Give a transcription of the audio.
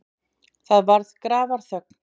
Það varð grafarþögn.